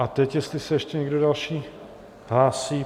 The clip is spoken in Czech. A teď jestli se ještě někdo další hlásí?